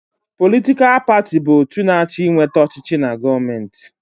Politikal paatị bụ otu na-achọ ịnweta ọchịchị na gọọmenti.